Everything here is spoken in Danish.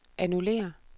annullér